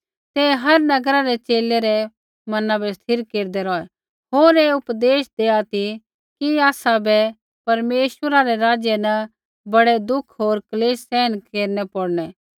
ते हर नगरा रै च़ेले रै मना बै स्थिर केरदै रौहै होर ऐ उपदेश देआ ती कि आसाबै परमेश्वरै रै राज्य न बड़ै दुख क्लेश सहन केरना पौड़नै